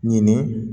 Ɲini